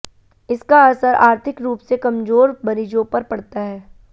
इसका असर आर्थिक रूप से कमजोर मरीजों पर पड़ता है